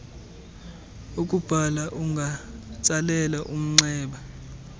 ukubhala ungatsalela umnxeba